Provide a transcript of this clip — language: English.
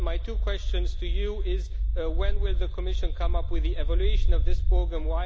My two questions to you are when will the Commission come up with the evaluation of this programme?